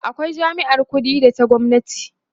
akwai jami'ar ƙuɗi da ta gwamnati